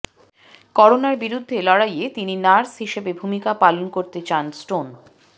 করোনার বিরুদ্ধে লড়াইয়ে তিনি নার্স হিসেবে ভূমিকা পালন করতে চান স্টোন